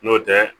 N'o tɛ